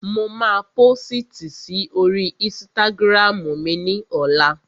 Mo máa pósìtì si oríi ísítágírámù ní ọlá